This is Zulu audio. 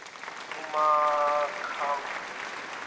umakhambule